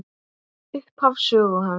Upphaf sögu hans.